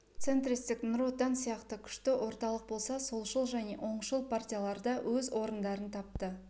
центристік нұр отан сияқты күшті орталық болса солшыл және оңшыл партиялар да өз орындарын тапты